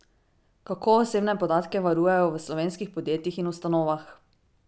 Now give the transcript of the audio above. Kako osebne podatke varujejo v slovenskih podjetjih in ustanovah?